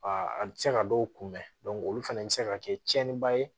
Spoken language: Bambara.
a bɛ se ka dɔw kunbɛn olu fana bɛ se ka kɛ tiɲɛniba ye